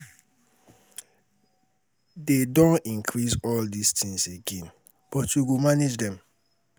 They don increase all dis things again but we go manage dem